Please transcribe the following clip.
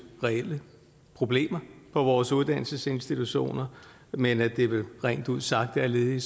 reelle problemer på vores uddannelsesinstitutioner men at det vel rent ud sagt er led